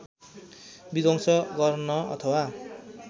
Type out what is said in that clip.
विध्वंस गर्न अथवा